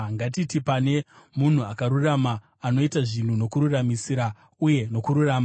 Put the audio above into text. “Ngatiti pane munhu akarurama anoita zvinhu nokururamisira uye nokururama.